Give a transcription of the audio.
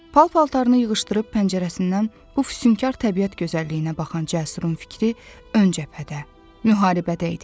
Pal-paltarını yığışdırıb pəncərəsindən bu füsunkar təbiət gözəlliyinə baxan Cəsurun fikri ön cəbhədə, müharibədə idi.